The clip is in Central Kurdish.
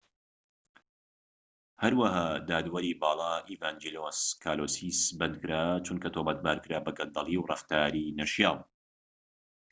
هەروەها دادوەری باڵا ئیڤانجیلۆس کالۆسیس بەندکرا چونکە تۆمەتبارکرا بە گەندەلی و ڕەفتاری نەشیاو